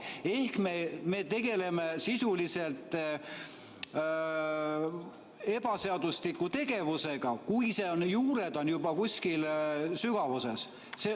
Ehk me tegeleme sisuliselt ebaseadusliku tegevusega, kui seal juured on kuskil sügavuses.